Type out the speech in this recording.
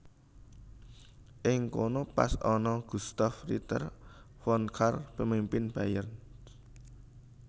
Ing kono pas ana Gustav Ritter von Kahr pemimpin Bayern